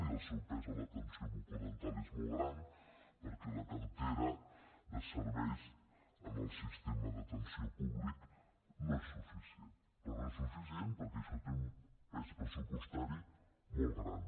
i el seu pes a l’atenció bucodental és molt gran perquè la cartera de serveis en el sistema d’atenció públic no és suficient però no és suficient perquè això té un pes pressupostari molt gran